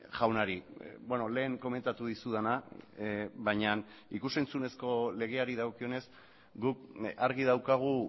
jaunari lehen komentatu dizudana baina ikus entzunezko legeari dagokionez guk argi daukagu